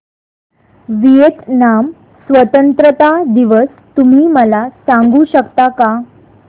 Vietnam स्वतंत्रता दिवस तुम्ही मला सांगू शकता का